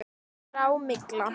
Grá. mygla!